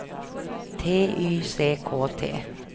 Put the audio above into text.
T Y C K T